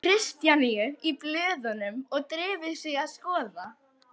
Kristjaníu í blöðunum og drifið sig að skoða.